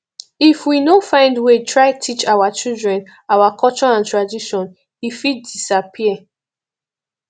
if we no find way try teach our children our culture and tradition e fit disappear